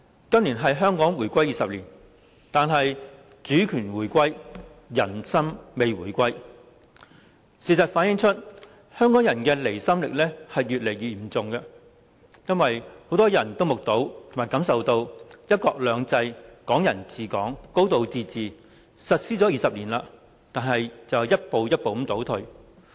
今年是香港回歸20年，但主權回歸，人心未回歸，事實反映出，香港人的離心力越來越嚴重，因為很多人都目睹及感受到，"一國兩制"、"港人治港"、"高度自治"實施20年來一步步倒退。